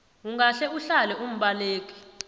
ungahle uhlale umbaleki